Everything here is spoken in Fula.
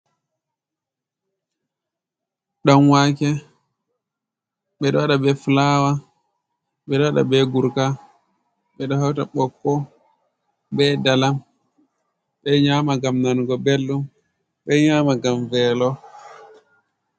Ɗan waake, ɓeɗo waɗa be fulawa, ɓeɗo waɗa be gurka ,ɓeɗo hauta bokko be dalam. Ɓeɗo nyama ngam nanugo belɗum, beɗo nyama ngam velo.